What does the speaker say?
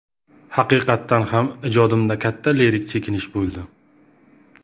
Haqiqatan ham, ijodimda katta lirik chekinish bo‘ldi.